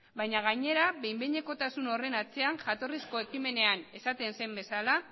baina gainera behin behinekotasun horren atzean jatorrizko ekimenean esaten zen bezala